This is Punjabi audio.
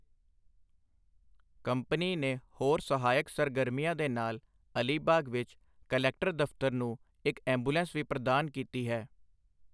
ਕੰਪਨੀ ਨੇ ਹੋਰ ਸਹਾਇਕ ਸਰਗਰਮੀਆਂ ਦੇ ਨਾਲ ਅਲੀਬਾਗ ਵਿੱਚ ਕਲੈਕਟਰ ਦਫ਼ਤਰ ਨੂੰ ਇੱਕ ਐੈਂਬੂਲੈਂਸ ਵੀ ਪ੍ਰਦਾਨ ਕੀਤੀ ਹੈ।